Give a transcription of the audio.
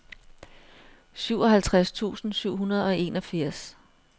syvoghalvtreds tusind syv hundrede og enogfirs